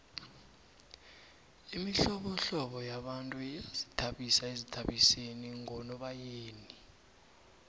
imihlobohlobo yabantu iyazithabisa ezithabiseni ngonobayeni